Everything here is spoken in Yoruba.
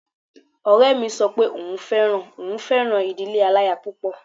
Ọ̀rẹ́ mi sọ pé òun fẹ́ràn òun fẹ́ràn ìdílé aláya púpọ̀